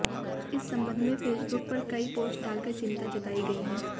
इस संबंध में फेसबुक पर कई पोस्ट डालकर चिंता जताई गई है